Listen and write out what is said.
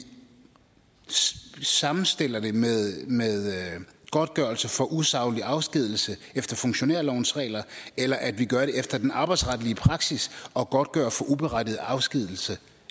sammenstiller det med godtgørelse for usaglig afskedigelse efter funktionærlovens regler eller at vi gør det efter den arbejdsretlige praksis og godtgør for uberettiget afskedigelse